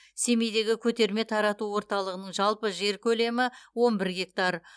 семейдегі көтерме тарату орталығының жалпы жер көлемі он бір гектар